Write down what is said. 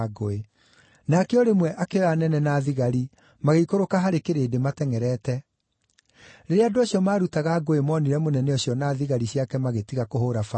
Nake o rĩmwe akĩoya anene na thigari magĩikũrũka harĩ kĩrĩndĩ matengʼerete. Rĩrĩa andũ acio maarutaga ngũĩ moonire mũnene ũcio na thigari ciake magĩtiga kũhũũra Paũlũ.